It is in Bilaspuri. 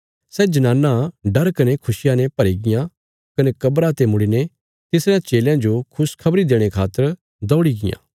सै जनानां डर कने खुशिया ने भरीगियां कने कब्रा ते मुड़ीने तिसरयां चेलयां जो खुशखबरी देणे खातर दौड़ी गियां